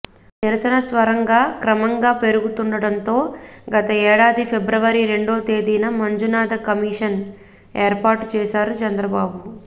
నిరసన స్వరంగా క్రమంగా పెరుగుతుండటంతో గత ఏడాది ఫిబ్రవరి రెండో తేదీన మంజునాథ కమిషన్ ఏర్పాటు చేశారు చంద్రబాబు